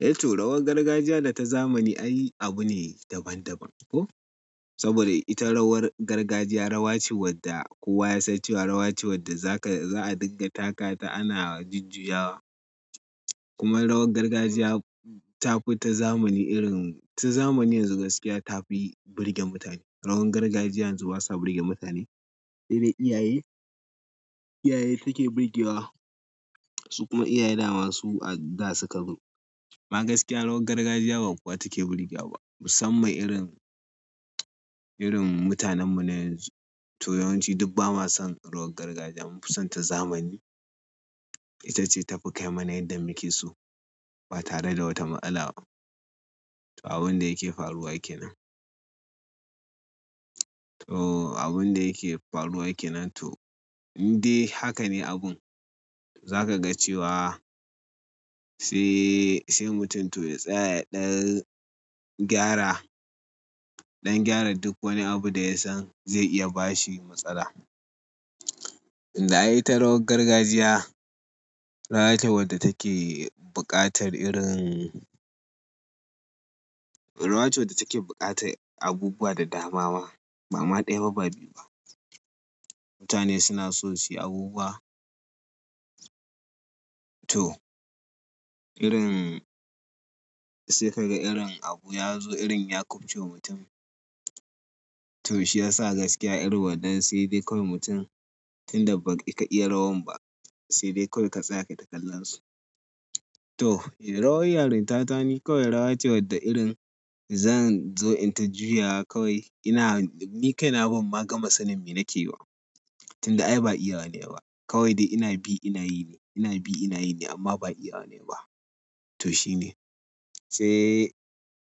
Eh to, rawar gargajiya da ta zamani ai abu ne daban-daban. Ko? Saboda ita rawar gargajiya rawa ce wadda kowa ya san cewa rawa ce wadda za ka, za a dinga taka ta ana jujjuyawa. Kuma rawar gargajiya ta fi ta zamani irin, ta zamani yanzu gaskiya ta fi burge mutane. Rawar gargajiya yanzu basa burge mutane. Sedai iyaye, iyaye take burgewa, su kuma iyaye dama su a da suka zo amma gaskiya rawar gargajiya ba kowa take burgewa ba. Musamman irin, irin mutanenmu na yanzu. To yawanci duk ba ma son rawar gargajiya mun fi son ta zamani. Itace tafi kai mana yadda muke so ba tare da wata matsala ba to abun da yake faruwa yake nan. To abun da yake faruwa ke nan to, indai haka ne abun. Za ka ga cewa sai, sai mutum to ya tsaya ya ɗan gyara, ɗan gyara duk wani abu da ya san zai iya ba shi matsala. Tunda ai ita rawar gargajiya, rawa ce wadda take buƙatar irin. Rawa ce wadda take buƙatar abubuwa da dama ma. Ba ma ɗaya ba, ba biyu ba. Mutane suna so su yi abubuwa. To, irin sai ka ga irin abu ya zo irin ya kubce wa mutum. To shi ya sa gaskiya irin waɗannan sai dai kawai mutum tunda baka iya rawan ba, sai dai kawai ka tsaya ka yi takallon su. To, eh rawar yarin ta tani kawai rawa ce wadda irin zan zo in ta juyawa kawai ina, ni kai na ban ma gama sanin me nake yi ba. Tunda ai ba iya nayiba. Kawai dai ina bi ina yi ne, ina bi ina yi ne amma ba iyawa nayi ba. To shine. Sai,